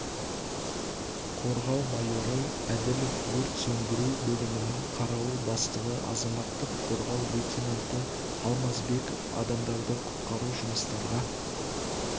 қорғау майоры әділовк өрт сөндіру бөлімінің қарауыл бастығы азаматтық қорғау лейтенанты алмасбеков адамдарды құтқару жұмыстарға